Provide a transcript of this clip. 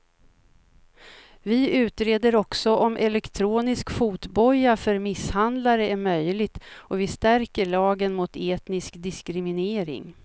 Vi utreder också om elektronisk fotboja för misshandlare är möjligt och vi stärker lagen mot etnisk diskriminering.